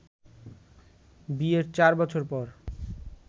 বিয়ের চার বছর পর